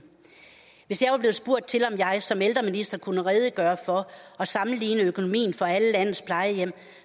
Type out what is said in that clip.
hvis jeg var blevet spurgt til om jeg som ældreminister kunne redegøre for og sammenligne økonomien for alle landets plejehjem